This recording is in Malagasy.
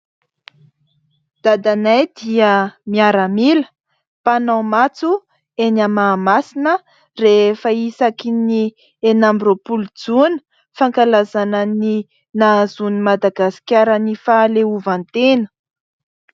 Dadanay dia miaramila mpanao matso eny Mahamasina rehefa isakin'ny enina amby roapolo jona, fankalazana ny nahazoan'i Madagasikara ny fahaleovantena.